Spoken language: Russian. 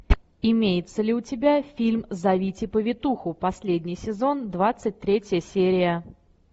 имеется ли у тебя фильм зовите повитуху последний сезон двадцать третья серия